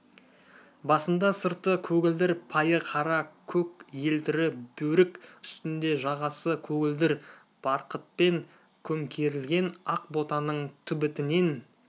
басында сырты көгілдір пайы қара көк елтірі бөрік үстінде жағасы көгілдір барқытпен көмкерілген ақ ботаның түбітінен